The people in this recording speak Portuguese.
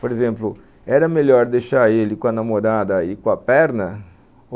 Por exemplo, era melhor deixar ele com a namorada e com a perna?